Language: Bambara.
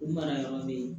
U mara yɔrɔ bɛ yen